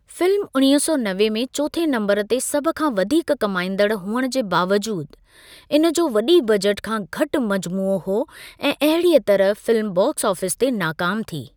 Film उणिवींह् सौ नवे में चोथें नम्बरु ते सभ खां वधीक कमाईंदड़ हुअण जे बावजूदि इन जो वॾी बजट खां घटि मजमूओ हो ऐं अहिड़ीअ तरह फिल्म बॉक्स ऑफ़ीस ते नाकामु थी।